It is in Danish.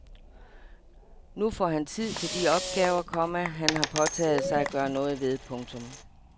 Nu får han tid til de opgaver, komma han har påtaget sig at gøre noget ved. punktum